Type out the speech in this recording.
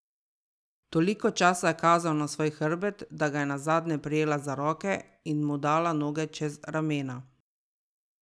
Toliko časa je kazal na svoj hrbet, da ga je nazadnje prijela za roke in mu dala noge čez ramena.